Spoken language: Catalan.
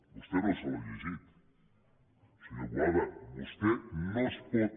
vostè no se l’ha llegit senyor boada vostè no es pot